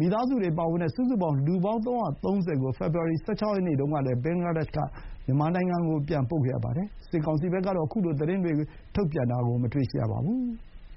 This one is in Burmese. မိသားစုတွေပါဝင်တဲ့ စုစုပေါင်း လူပေါင်း ၃၃၀ ကို ဖေဖော်ဝါရီ ၁၆ ရက်နေ့တုန်းကလည်း ဘင်္ဂလားဒေ့ရှ်က မြန်မာနိုင်ငံကို ပြန်ပို့ခဲ့ရပါတယ်။ စစ်ကောင်စီဘက်ကတော့ ခုလို သတင်းတွေကို ထုတ်ပြန်တာ မတွေ့ရသေးပါဘူး။